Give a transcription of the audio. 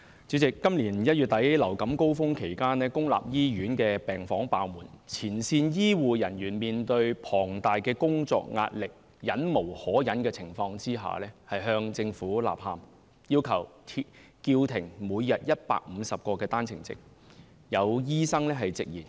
主席，今年1月底流感高峰期間，公立醫院病房爆滿，前線醫護人員面對龐大工作壓力，在忍無可忍的情況下向政府吶喊，要求叫停每天150個單程證。